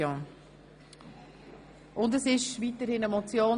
Es handelt sich weiterhin um eine Motion;